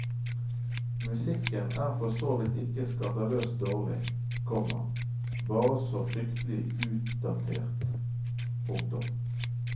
Musikken er for så vidt ikke skandaløst dårlig, komma bare så fryktelig utdatert. punktum